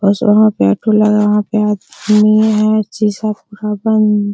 और जहा पे ओटू लगा है वहां पे आदमी है शीशा पूरा बंद।